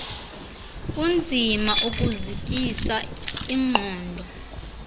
kunzima ukuzikisa ingqondo